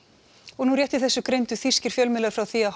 og nú rétt í þessu greindu þýskir miðlar frá því að